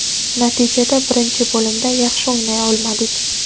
Natijada birinchi bo‘limda yaxshi o‘ynay olmadik.